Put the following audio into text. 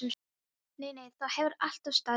Nei, nei, það hefur alltaf staðið til.